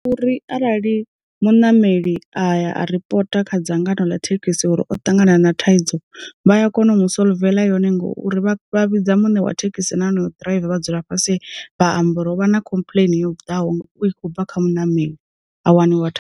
U ri arali mu ṋameli a ya a ripota kha dzangano ḽa thekhisi uri o ṱangana na thaidzo vha a kona u mu soḽveḽa yone ngauri vha vha vhidza muṋe wa thekhisi na honoyo ḓiraiva vha dzula fhasi vha amba uri vha na complain yo daho i khou bva kha muṋameli a waniwa .